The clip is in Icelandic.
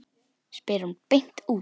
spyr hún beint út.